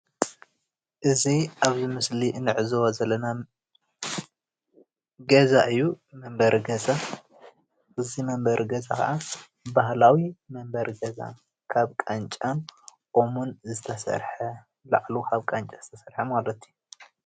እዚ ኣብዚ ምስሊ እንዕዘቦ ዘለና ገዛ እዩ። መንበሪ ገዛ። እዚ መንበሪ ገዛ ኸዓ ባህላዊ መንበሪ ገዛ ካብ ቃንጫን ኦምን ዝተሰርሐ ላዕሉ ካብ ቃንጫ ዝተሰርሐ ማለት እዩ።